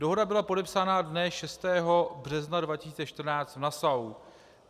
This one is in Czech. Dohoda byla podepsána dne 6. března 2014 v Nassau.